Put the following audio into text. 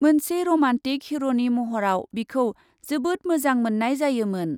मोनसे रमान्टिक हिर'नि महराव बिखौ जोबोद मोजां मोन्नाय जायोमोन ।